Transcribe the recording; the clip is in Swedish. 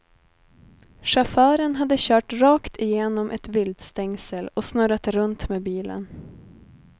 Chauffören hade kört rakt igenom ett viltstängsel och snurrat runt med bilen.